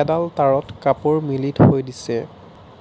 এডাল তাঁৰত কাপোৰ মেলি থৈ দিছে